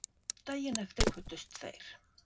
Daginn eftir kvöddust þeir.